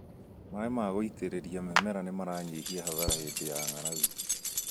Maĩ ma gũitĩrĩria mĩmera nĩmaranyihia hathara hĩndĩ ya ng'arang'u